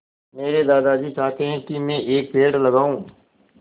मेरे दादाजी चाहते हैँ की मै एक पेड़ लगाऊ